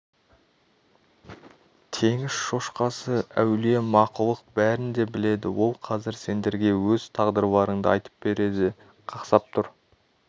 теңіз шошқасы әулие мақұлық бәрін де біледі ол қазір сендерге өз тағдырларыңды айтып береді қақсап тұр